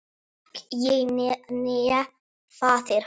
Hvorki ég né faðir hans.